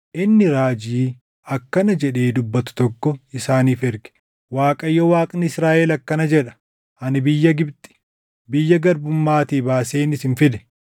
inni raajii akkana jedhee dubbatu tokko isaaniif erge; “ Waaqayyo Waaqni Israaʼel akkana jedha: Ani biyya Gibxi, biyya garbummaatii baaseen isin fide.